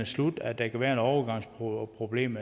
slut og at der kan være et overgangsproblem